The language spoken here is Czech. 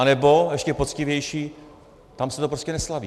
Anebo, ještě poctivější, tam se to prostě neslaví.